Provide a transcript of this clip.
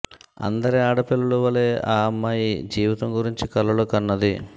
అందరి ఆడిపిల్లల వలే ఆ అమ్మారుూ జీవితం గురించి కలలు కన్నది